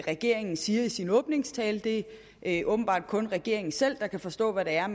regeringen siger i sin åbningstale det er åbenbart kun regeringen selv der kan forstå hvad det er